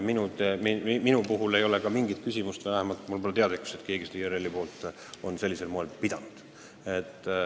Minu puhul ei ole mingit küsimust ja vähemalt mulle pole teada, et keegi teine IRL-ist on neid läbirääkimisi sellisel moel pidanud.